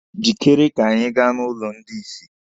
Jịkere ka anyị gaa n'ụlọ ndị isi!